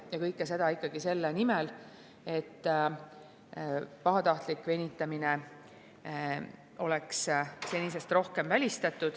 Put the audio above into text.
Ja kõike seda ikka selle nimel, et pahatahtlik venitamine oleks senisest rohkem välistatud.